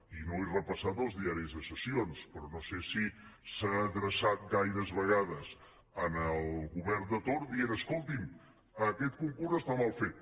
i no he repassat els diaris de sessions però no sé si s’ha adreçat gaires vegades al govern de torn dient escolti’m aquest concurs està mal fet